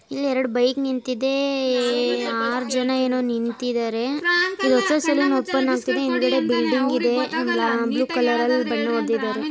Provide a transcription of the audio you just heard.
ಇಲ್ಲೆರಡು bike ನಿಂತಿದೆ ಆರ್ ಜನ ಏನೋ ನಿಂತಿದ್ದಾರೆ.